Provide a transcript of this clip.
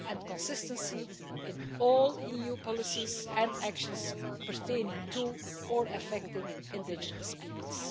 consistency in all EU policies and actions pertaining to or affecting indigenous peoples.